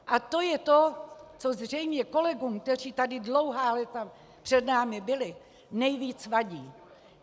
A to je to, co zřejmě kolegům, kteří tady dlouhá léta před námi byli, nejvíc vadí.